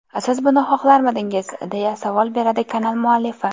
Siz buni xohlarmidingiz?”, deya savol beradi kanal muallifi.